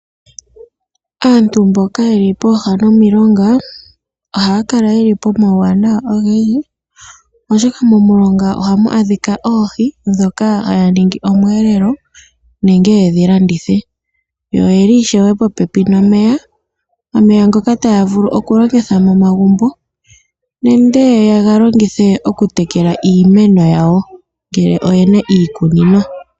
Aanyu mboka yeli pooha nomilonga ohaya kala teli pomawuwanawa ogendji oshoka momulonga ohamu adhika oohi dhoka haya ningi omweelelo nenge yedhi landithe, yo oyeli ishewe popepi nomeya, omeya ngoka taya vulu okulongitha momagumbo nenge yegalongithe okutekela iimeno yawo ngele oyena iikunino.